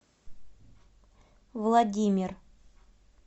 владимир